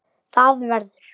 Það verður.